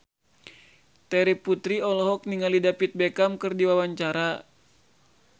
Terry Putri olohok ningali David Beckham keur diwawancara